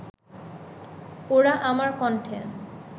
ওরা আমার কন্ঠে